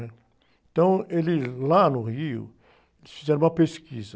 né? Então, eles, lá no Rio, eles fizeram uma pesquisa.